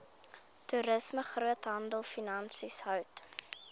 toerisme groothandelfinansies hout